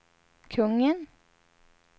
kungen